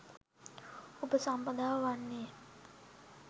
උපසම්පදාව වන්නේ ය.